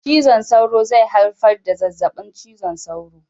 Cizon sauro zai haifar da zazzaɓin cizon sauro